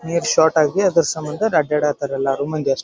ನೀರ್ ಶಾರ್ಟ್ ಆಗಿ ಅದ್ರ ಸಮ್ಮಂದ ಅಡ್ಡಾಡ ತರ್ ಎಲ್ಲಾರು ಮಂದಿ ಅಷ್--